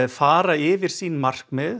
fara yfir sín markmið